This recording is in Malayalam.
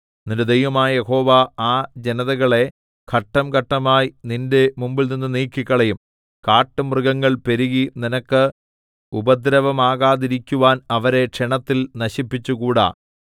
നിന്റെ ദൈവമായ യഹോവ ആ ജനതകളെ ഘട്ടം ഘട്ടമായി നിന്റെ മുമ്പിൽനിന്ന് നീക്കിക്കളയും കാട്ടുമൃഗങ്ങൾ പെരുകി നിനക്ക് ഉപദ്രവമാകാതിരിക്കുവാൻ അവരെ ക്ഷണത്തിൽ നശിപ്പിച്ചുകൂടാ